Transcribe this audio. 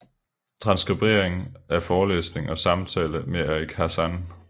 Transkribering af forelæsning og samtale med Eric Hazan